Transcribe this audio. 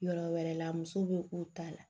Yɔrɔ wɛrɛ la muso be k'u ta la